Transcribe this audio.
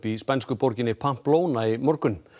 í spænsku borginni Pamplona í morgun